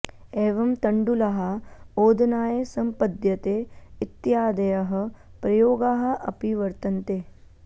एवं तण्डुलः ओदनाय सम्पद्यते इत्यादयः प्रयोगाः अपि वर्तन्ते